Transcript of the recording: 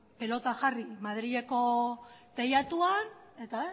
pelota jarri madrileko teilatuan eta